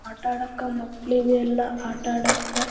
ಆಟ ಆಡಾಕ ಮಕ್ಕಳಿಗೆ ಎಲ್ಲ ಆಟ ಆಡಾಕ--